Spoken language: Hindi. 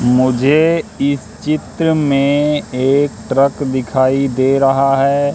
मुझे इस चित्र में एक ट्रक दिखाई दे रहा है।